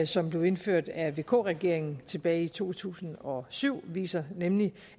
som blev indført af vk regeringen tilbage i to tusind og syv viser nemlig